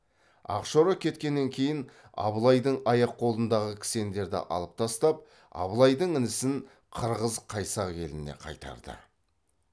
ақшора кеткеннен кейін абылайдың аяқ қолындағы кісендерді алып тастап абылайдың інісін қырғыз қайсақ еліне қайтарды